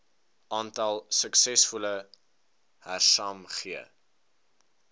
aantal suksesvolle hersaamge